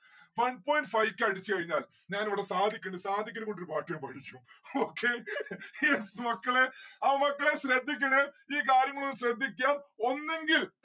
one point five k അടിച്ചു കഴിഞ്ഞാൽ ഞാൻ ഇവിടെ സാദിഖ് ഇണ്ട് സാദിഖിനെ കൊണ്ട് ഒരു പാട്ട് ഞാൻ പാടിപ്പിച്ചു okay yes മക്കളെ ആ മക്കളെ ശ്രദ്ധിക്കണേ. ഈ കാര്യങ്ങളൊന്ന് ശ്രദ്ധിക്ക്യം ഒന്നുങ്കിൽ